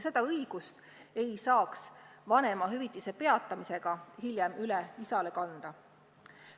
Seda õigust ei saa vanemahüvitise peatamisega hiljem isale üle kanda.